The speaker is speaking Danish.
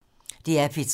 DR P3